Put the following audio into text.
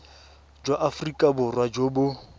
jwa aforika borwa jo bo